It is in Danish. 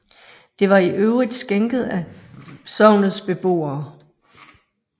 Det var i øvrigt skænket af sognets beboere